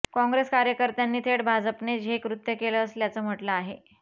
काँग्रेस कार्यकर्त्यांनी थेट भाजपनेच हे कृत्य केलं असल्याचं म्हटलं आहे